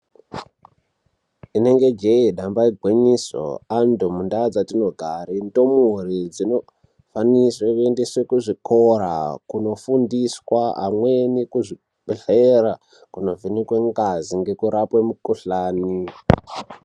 Inenge jee damba igwinyiso antu mundaa dzatinogara ndumure dzinofanirwe kuendeswe kuzvikora kunofundiswa amweni kuzvibhedhlera kunovhenekwe ngazi ngekurapwe mikhuhlani.